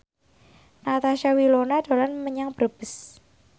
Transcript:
Natasha Wilona dolan menyang Brebes